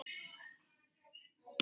Gosi og kóngur.